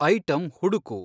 item ಹುಡುಕು